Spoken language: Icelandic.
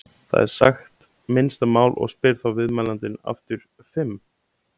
Það er sagt minnsta mál og spyr þá viðmælandinn aftur: Fimm?